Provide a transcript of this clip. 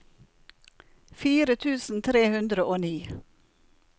fire tusen tre hundre og ni